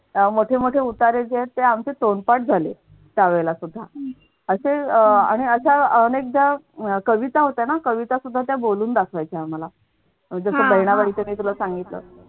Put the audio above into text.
अह मोठे मोठे उतारे आहेत त्यांचे तोंडपाठ झालेत त्यावेळेला सुद्धा असे अह आणि अशा अनेकदा कविता होत्या ना कविता सुद्धा त्या बोलून दाखवायचे आम्हाला जस बहिणाबाईच मी तुला सांगितलं.